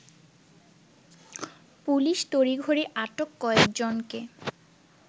police তড়িঘড়ি আটক কয়েকজনকে